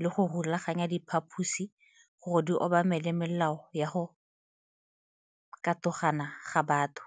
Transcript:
le go rulaganya diphaposi gore di obamele melao ya go katogana ga batho.